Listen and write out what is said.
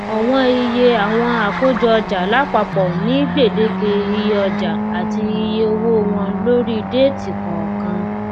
ọwọn iye àwọn àkójọọjà lápapọ ní gbèdéke iye ọjà àti iye owó wọn lórí déètì kọọkan